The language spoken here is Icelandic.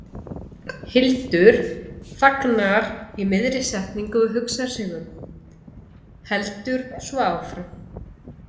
Hildur þagnar í miðri setningu og hugsar sig um, heldur svo áfram